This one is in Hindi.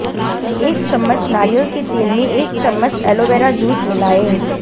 एक चम्मच नारियल के तेल में एक चम्मच एलोवीरा जूस मिलाएं